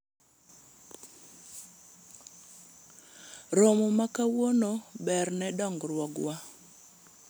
romo ma kawuono ber ne dongruogwa